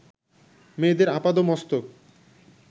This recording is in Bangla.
মেয়েদের আপাদমস্তক